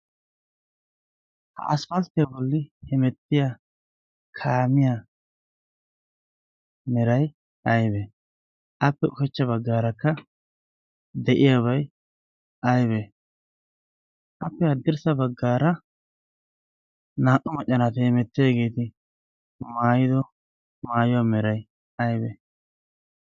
ha aspfastte bolli hemettiya kaamiyaa meray aybe appe ushechcha baggaarakka de'iyaabay aybe appe addirssa baggaara naa'u maccanaatae hemettidageeti maayido maayuwaa meray aybe